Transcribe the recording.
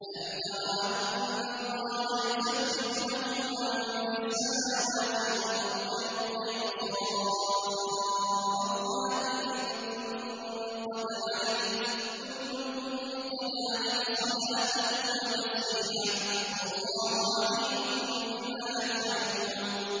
أَلَمْ تَرَ أَنَّ اللَّهَ يُسَبِّحُ لَهُ مَن فِي السَّمَاوَاتِ وَالْأَرْضِ وَالطَّيْرُ صَافَّاتٍ ۖ كُلٌّ قَدْ عَلِمَ صَلَاتَهُ وَتَسْبِيحَهُ ۗ وَاللَّهُ عَلِيمٌ بِمَا يَفْعَلُونَ